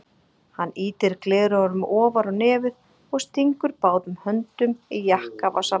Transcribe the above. Hann ýtir gleraugunum ofar á nefið og stingur báðum höndum í jakkavasana.